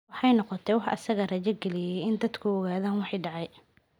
Waxay noqotay wax isaga rajo galiyay in dadku ogaadaan wixii dhacay.